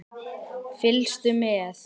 Fylgstu með!